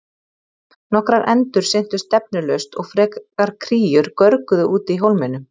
Nokkrar endur syntu stefnulaust og frekar kríur görguðu úti í hólmanum.